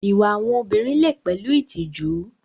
Ìwà àwọn obìnrin lè pẹ̀lú ìtìjú.